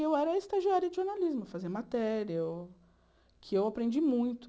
E eu era estagiária de jornalismo, fazia matéria, eu que eu aprendi muito.